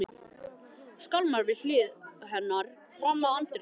Skálmar við hlið hennar fram að anddyrinu.